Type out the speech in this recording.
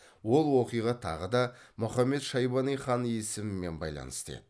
ол оқиға тағы да мұхаммед шайбани хан есімімен байланысты еді